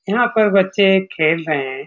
यहाँ पर बच्चे खेल रहे हैं।